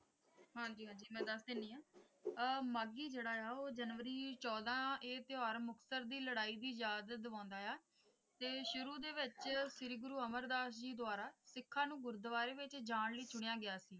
ਹਾਂਜੀ ਹਾਂਜੀ ਮੈਂ ਦੱਸ ਦਿੰਨੀ ਹਾਂ ਅਹ ਮਾਘੀ ਜਿਹੜਾ ਜਨਵਰੀ ਚੌਦਾਂ ਇਹ ਤਿਉਹਾਰ ਮੁਕਤਸਰ ਦੀ ਲੜਾਈ ਦੀ ਯਾਦ ਦਵਾਉਂਦਾ ਹੈ ਤੇ ਸ਼ੁਰੂ ਦੇ ਵਿੱਚ ਸ਼੍ਰੀ ਗੁਰੂ ਅਮਰਦਾਸ ਜੀ ਦੁਆਰਾ ਸਿੱਖਾਂ ਨੂੰ ਗੁਰੂਦੁਆਰੇ ਵਿੱਚ ਜਾਂ ਲਈ ਚੁਣਿਆ ਗਿਆ ਸੀ।